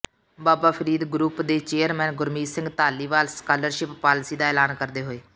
ਬਾਬਾ Farid group ਦੇ chairman Gurmeet Singh Dhaliwal scholarship policy ਦਾ ਐਲਾਨ ਕਰਦੇ ਹੋਏ